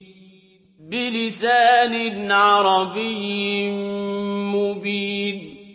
بِلِسَانٍ عَرَبِيٍّ مُّبِينٍ